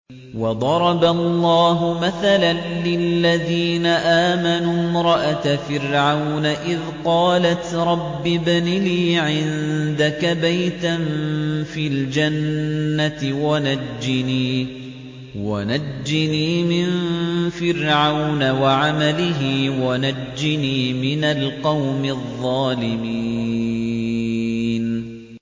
وَضَرَبَ اللَّهُ مَثَلًا لِّلَّذِينَ آمَنُوا امْرَأَتَ فِرْعَوْنَ إِذْ قَالَتْ رَبِّ ابْنِ لِي عِندَكَ بَيْتًا فِي الْجَنَّةِ وَنَجِّنِي مِن فِرْعَوْنَ وَعَمَلِهِ وَنَجِّنِي مِنَ الْقَوْمِ الظَّالِمِينَ